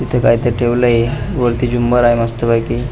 इथ काहीतर ठेवलेल आहे वरती झुमर ठेवलेले आहे मस्त पैकी.